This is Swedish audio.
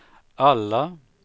alla